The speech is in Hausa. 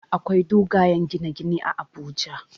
Akwai dogayen gine gine a Abuja